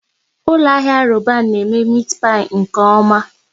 Ụlọ ahịa Roban na eme meti pai nke oma